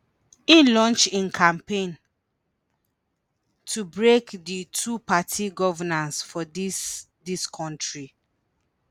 im launch im campaign “to break di two-party governance for dis dis kontri”.